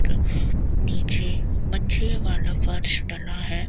नीचे मंझे वाला फर्श बना है।